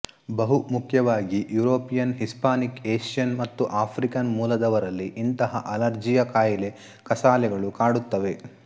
ಬಹುಮುಖ್ಯವಾಗಿ European Hispanic Asian ಮತ್ತು African ಮೂಲದವರಲ್ಲಿ ಇಂಥ ಅಲರ್ಜಿಯ ಕಾಯಿಲೆ ಕಸಾಲೆಗಳು ಕಾಡುತ್ತವೆ